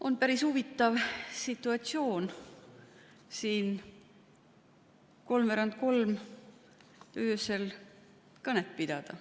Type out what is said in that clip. On päris huvitav siin öösel kolmveerand kolm kõnet pidada.